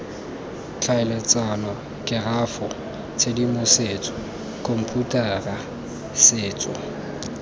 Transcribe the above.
tlhaeletsano kerafo tshedimosetso khomputara setso